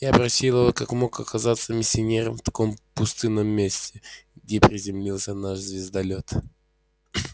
я спросил его как мог оказаться миссионер в таком пустынном месте где приземлился наш звездолёт